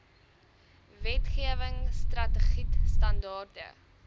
wetgewing strategied standaarde